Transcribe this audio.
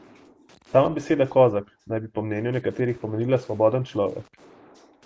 Sama beseda kozak naj bi po mnenju nekaterih pomenila svoboden človek.